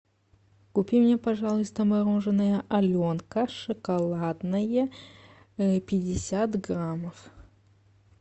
купи мне пожалуйста мороженое аленка шоколадное пятьдесят граммов